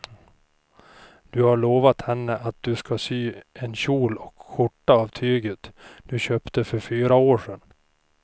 Du har lovat henne att du ska sy en kjol och skjorta av tyget du köpte för fyra år sedan.